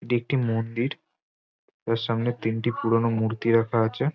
একটি মন্দির সামনে তিনটি পুরনো মূর্তি রাখা আছে।